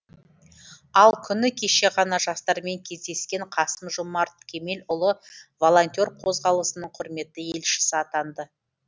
ал күні кеше ғана жастармен кездескен қасым жомарт кемелұлы волонтер қозғалысының құрметті елшісі атанды